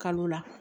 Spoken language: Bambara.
Kalo la